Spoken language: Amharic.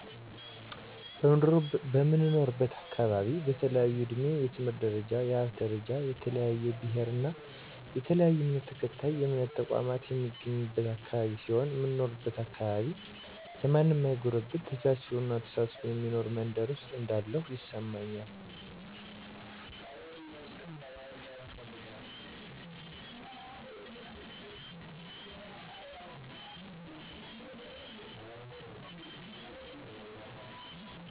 በምኖርበት አካባቢ በተለያየ እድሜ፣ የትምህርት ደረጃ፣ የሀብት ደረጃ፣ የተለያየ ብሔር እና የተለያየ እምነት ተከታይና የእምነት ተቋማት የሚገኝበት አካባቢ ሲሆን፣ እምኖርበት አካባቢ ለማንም ማይጎረብጥ ተቻችሎና ተሳስቦ የሚኖር መንደር ውስጥ እንዳለሁ ይሰማኛል።